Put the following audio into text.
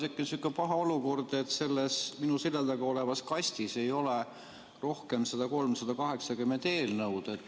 On tekkinud sihuke paha olukord, et minu selja taga olevas kastis ei ole enam eelnõu 380 väljatrükke.